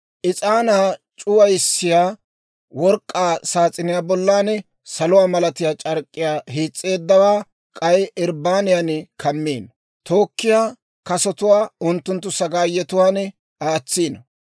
«Is'aanaa c'uwissiyaa work'k'aa saas'iniyaa bollan saluwaa malatiyaa c'ark'k'iyaa hiis's'eeddawaa k'ay irbbaniyan kammino; tookkiyaa kasotuwaa unttunttu sagaayetuwaan aatsino.